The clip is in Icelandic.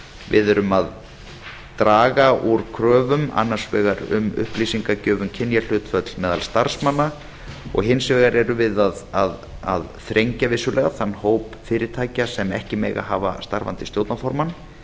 við erum að draga úr kröfum annars vegar um upplýsingagjöf um kynjahlutfall meðal starfsmanna og hins vegar erum við að þrengja vissulega þann hóp fyrirtækja sem ekki mega hafa starfandi stjórnarformann